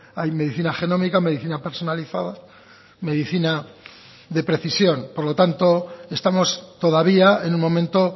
hay medicina genómica medicina personalizada medicina de precisión por lo tanto estamos todavía en un momento